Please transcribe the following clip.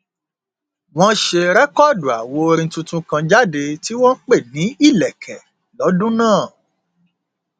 wọn ṣe rẹkọọdù àwo orin tuntun kan jáde tí wọn pè ní ìlẹkẹ lọdún náà